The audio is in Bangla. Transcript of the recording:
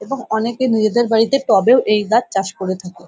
এবং অনেকে নিজেদের বাড়িতে টবেও এই গাছ চাষ করে থাকে।